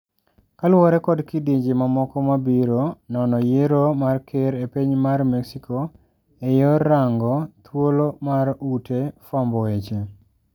Kaluore kod kidienje mamoko mabiro ,nono yiero mar ker epiny mar mexico eyor rango thuolo mar ute fwambo weche.